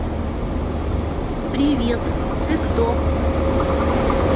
привет ты кто